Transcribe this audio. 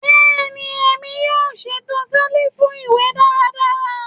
Bẹẹni, Emi yoo ṣeto selifu iwe daradara